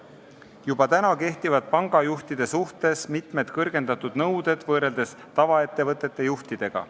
Juba praegu kehtivad pangajuhtidele kõrgendatud nõuded võrreldes tavaettevõtete juhtidega.